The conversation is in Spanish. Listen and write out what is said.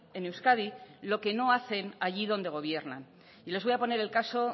en euskadi lo que no hacen allí donde gobiernan y les voy a poner el caso